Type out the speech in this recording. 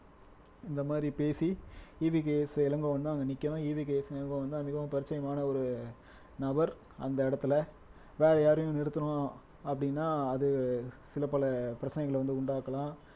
இந்த மாதிரி பேசி ஈ வி கே ஸ் இளங்கோவன்தான் அங்க நிக்கணும் ஈ வி கே ஸ் இளங்கோவன்தான் மிகவும் பரிச்சயமான ஒரு நபர் அந்த இடத்துல வேற யாரையும் நிறுத்தணும் அப்படின்னா அது சில பல பிரச்சனைகளை வந்து உண்டாக்கலாம்